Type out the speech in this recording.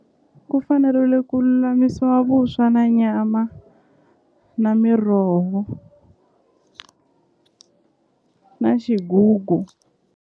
Ku fanerile ku lulamisiwa vuswa na nyama na miroho na xigugu.